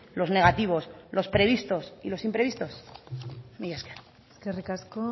los negativos y los previstos y los imprevistos mila esker eskerrik asko